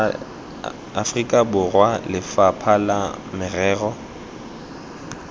aforika borwa lefapha la merero